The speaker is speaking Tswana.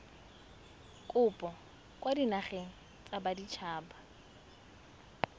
kopo kwa dinageng tsa baditshaba